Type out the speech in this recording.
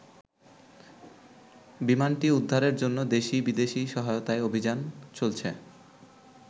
বিমানটি উদ্ধারের জন্য দেশি-বিদেশী সহায়তায় অভিযান চলছে।